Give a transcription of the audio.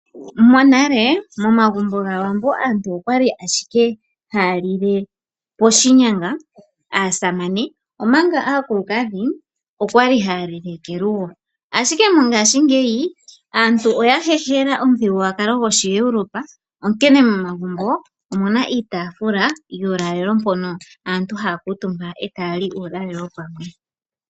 Monale momagumbo gaAwambo aantu okwali ashike haya lile poshinyanga aasamane omanga aakulukadhi okwali haya lile kelugo ashike mongashingeyi aantu ohaya hehela omuthigululwakalo gwoshiEuropa onkene momagumbo omuna iitafula yuulalelo mpono aantu haya kuutumba ee taya li uulalelo pamwe.